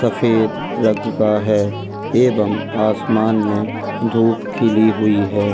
सफ़ेद रंग का है एवं आसमान में धूप खिली हुई है।